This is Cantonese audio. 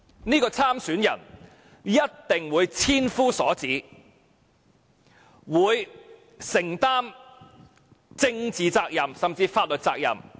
這名參選人一定會受千夫所指，要承擔政治責任甚至法律責任。